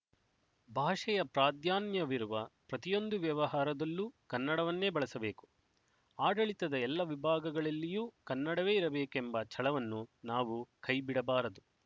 ಭಾಷೆಯ ಪ್ರಾಧಾನ್ಯವಿರುವ ಪ್ರತಿಯೊಂದು ವ್ಯವಹಾರದಲ್ಲೂ ಕನ್ನಡವನ್ನೆ ಬಳಸಬೇಕು ಆಡಳಿತದ ಎಲ್ಲ ವಿಭಾಗಗಳಲ್ಲಿಯೂ ಕನ್ನಡವೇ ಇರಬೇಕೆಂಬ ಛಲವನ್ನು ನಾವು ಕೈಬಿಡಬಾರದು